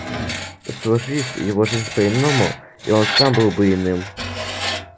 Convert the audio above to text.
сложись его жизнь по иному и он сам был бы иным